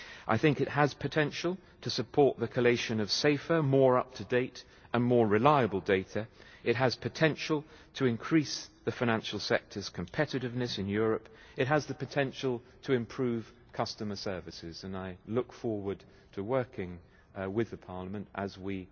I think it has potential to support the collation of safer, more up to date and more reliable data, it has potential to increase the financial sector's competitiveness in Europe, it has the potential to improve customer services, and I look forward to working with Parliament as we